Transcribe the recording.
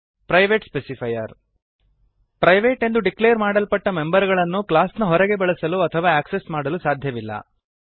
private specifier private ಎಂದು declare ಮಾಡಲ್ಪಟ್ಟ member ಗಳನ್ನು ಕ್ಲಾಸ್ ನ ಹೊರಗೆ ಬಳಸಲು ಅಥವಾ ಆಕ್ಸೆಸ್ ಮಾಡಲು ಸಾಧ್ಯವಿಲ್ಲ